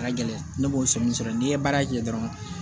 A ka gɛlɛn ne b'o sɔrɔ min sɔrɔ n'i ye baara kɛ dɔrɔn